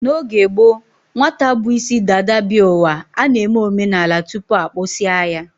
N'oge gboo, nwata bu isi dada bịa ụwa, a na-eme omenala tupu a kpụsịa ya